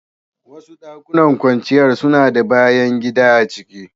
Wasu dakunan kwanciyar suna da bayan gida a ciki.